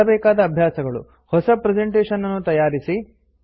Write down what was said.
ಮಾಡಬೇಕಾದ ಅಭ್ಯಾಸಗಳು160 ಹೊಸ ಪ್ರೆಸೆಂಟೇಶನ್ ನ್ನು ತಯಾರಿಸಿ